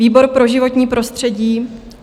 "Výbor pro životní prostředí